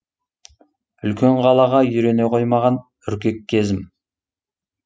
үлкен қалаға үйрене қоймаған үркек кезім